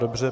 Dobře.